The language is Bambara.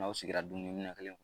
N'aw sigira dumuni kelen